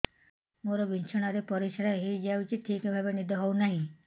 ମୋର ବିଛଣାରେ ପରିସ୍ରା ହେଇଯାଉଛି ଠିକ ଭାବେ ନିଦ ହଉ ନାହିଁ